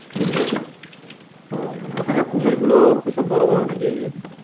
ও মানে ওখানকার কুমিরগুলো সব বড় বড় নাকি?